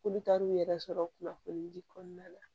K'olu taar'u yɛrɛ sɔrɔ kunnafoni di kɔnɔna la